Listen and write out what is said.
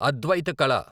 అద్వైత కల